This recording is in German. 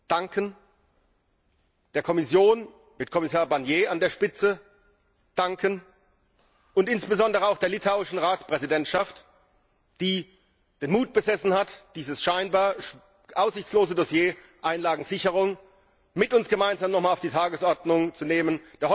Danken möchte ich ferner der Kommission, mit Kommissar Barnier an der Spitze, und insbesondere auch der litauischen Ratspräsidentschaft, die den Mut besessen hat, dieses scheinbar aussichtslose Dossier Einlagensicherung mit uns gemeinsam noch einmal auf die Tagesordnung zu setzen.